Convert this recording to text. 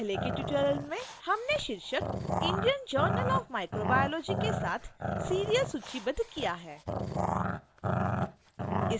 पहले के tutorial में हमने शीर्षक indian journal of microbiology के साथ serial सूचीबद्ध किया है